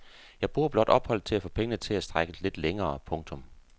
Jeg bruger blot opholdet til at få pengene til at strække lidt længere. punktum